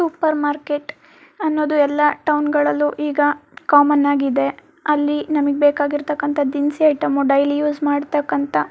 super market ಅನ್ನೋದು ಎಲ್ಲಾ ಟೌನ್ಗಳಲ್ಲೂ ಈಗ ಕಾಮನ್ ಆಗಿದೆ ಅಲ್ಲಿ ನಮಗೆ ಬೇಕಾಗಿರ್ತಕಂತ ದಿನಸಿ ಐಟಂ ಡೈಲಿ ಯೂಸ್ ಮಾಡ್ತಕಂತ --